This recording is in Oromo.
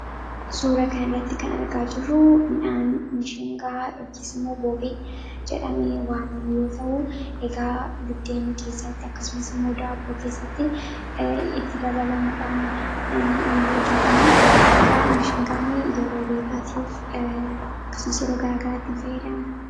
Suuraa kanarratti kan argaa jirru midhaan mishingaa yookiin immoo boobee jedhamee waamamu yoo ta'u, egaa buddeen keessatti akkasumas immoo daabboo keessatti itti dabalamuudhaan hojjatama. Egaa mishingaan yeroo beelaatiif akkasumas yeroo garaagaraatiif fayyadamna.